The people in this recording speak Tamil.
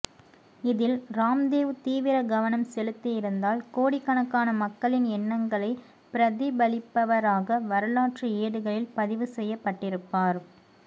இதில் ராம்தேவ் தீவிர கவனம் செலுத்தி இருந்தால் கோடிக்கணக்கான மக்களின் எண்ணங்களை பிரதிப்பலிப்பவராக வரலாற்று ஏடுகளில் பதிவு செய்ய பட்டிருப்பார்